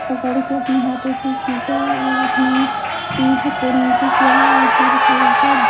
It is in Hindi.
पकड़ के अपने हाथों से खींचा है और अपने पीठ को नीचे किया है और सिर को ऊपर--